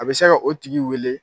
A bɛ se ka o tigi wele